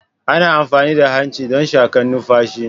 Ana amfani da hanci don shakan numfashi.